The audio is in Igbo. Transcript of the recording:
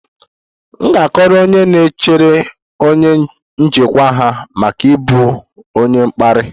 M ga-akọrọ onye na-echere onye njikwa ha maka ịbụ onye mkparị